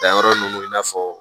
Danyɔrɔ nunnu i n'a fɔ